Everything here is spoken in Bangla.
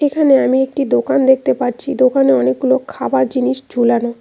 এখানে আমি একটি দোকান দেখতে পাচ্ছি দোকানে অনেকগুলো খাবার জিনিস ঝুলানো।